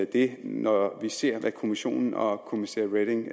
det når vi ser hvad kommissionen og kommissær reding